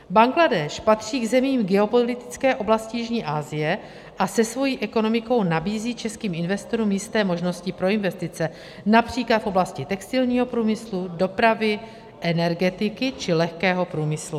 Bangladéš patří k zemím geopolitické oblasti jižní Asie a se svou ekonomikou nabízí českým investorům jisté možnosti pro investice, například v oblasti textilního průmyslu, dopravy, energetiky či lehkého průmyslu.